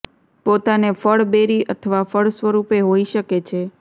પોતાને ફળ બેરી અથવા ફળ સ્વરૂપે હોઈ શકે છે